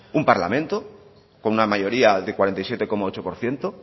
un parlamento con una mayoría de cuarenta y siete coma ocho por ciento